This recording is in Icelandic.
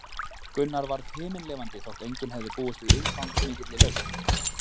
Gunnar varð himinlifandi þótt enginn hefði búist við svo umfangsmikilli lausn.